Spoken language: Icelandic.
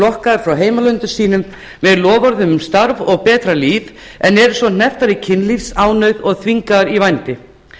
lokkaðar frá heimalöndum sínum með loforðum um starf og betra líf en eru svo hnepptar í kynlífsánauð og þvingaðar út í vændi